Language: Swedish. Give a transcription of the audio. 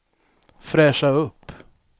fräscha upp